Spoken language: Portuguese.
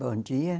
Bom dia.